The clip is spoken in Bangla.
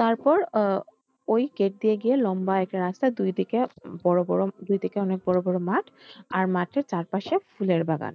তারপর আহ ওই gate দিয়ে গিয়ে লম্বা একটা রাস্তা দুই দিকে বড় বড় দুইদিকে অনেক বড় বড় মাঠ। আর মাঠের চারপাশে ফুলের বাগান।